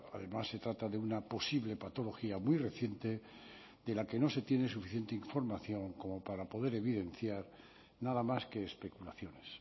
además se trata de una posible patología muy reciente de la que no se tiene suficiente información como para poder evidenciar nada más que especulaciones